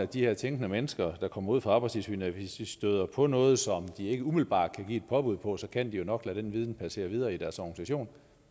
de her tænkende mennesker der kommer ud for arbejdstilsynet støder på noget som de ikke umiddelbart kan give et påbud på så kan de jo nok lade den viden passere videre i deres organisation